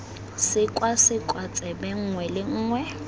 sekwasekwa tsebe nngwe le nngwe